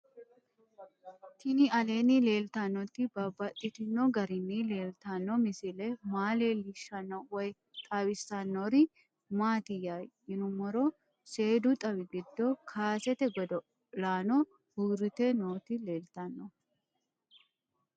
Tinni aleenni leelittannotti babaxxittinno garinni leelittanno misile maa leelishshanno woy xawisannori maattiya yinummoro seedu xawi giddo kaaseette godo'lanno uuritte nootti leelittanno